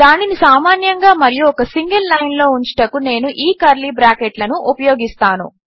దానిని సామాన్యంగా మరియు ఒక సింగిల్ లైన్లో ఉంచుటకు నేను ఈ కర్లీ బ్రాకెట్లను ఉపయోగిస్తాను